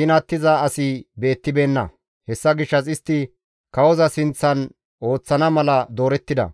ginattiza asi beettibeenna; hessa gishshas istti kawoza sinththan ooththana mala doorettida.